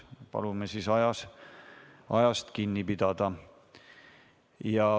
Palume siis ajast kinni pidada.